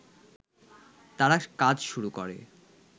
তারা কাজ শুরু করে